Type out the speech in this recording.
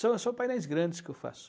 São só painéis grandes que eu faço.